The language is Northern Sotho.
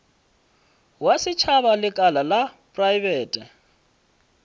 wa setšhaba lekala la praebete